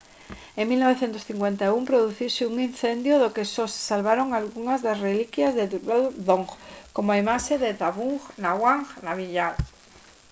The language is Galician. en 1951 produciuse un incendio do que só se salvaron algunhas das reliquias de drukgyal dzong como a imaxe de zhabdrung ngawang namgyal